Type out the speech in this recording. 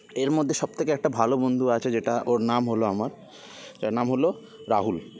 এর মধ্যে সবথেকে একটা ভালো বন্ধু আছে যেটা ওর নাম হল আমার যার নাম হল রাহুল